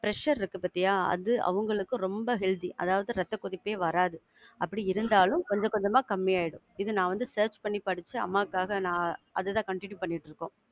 Pressure இருக்கு பாத்தியா? அது அவங்களுக்கு ரொம்ப healthy. அதாவது ரத்த கொதிப்பே வராது. அப்படி இருந்தாலும் கொஞ்சம் கொஞ்சமா கம்மியாயிடும். இது நான் வந்து search பண்ணி படிச்சு அம்மாக்காக நான் அது தான் continue பண்ணிட்டு இருக்கோம்.